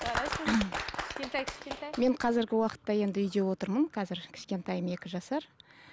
жарайсың кішкентай кішкентай мен қазіргі уақытта енді үйде отырмын қазір кішкентайым екі жасар